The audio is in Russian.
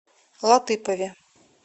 латыпове